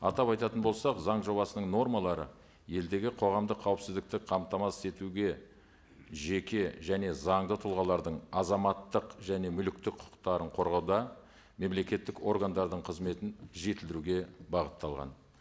атап айтатын болсақ заң жобасының нормалары елдегі қоғамдық қауіпсіздікті қамтамасыз етуге жеке және заңды тұлғалардың азаматтық және мүліктік құқықтарын қорғауда мемлекеттік органдардың қызметін жетілдіруге бағытталған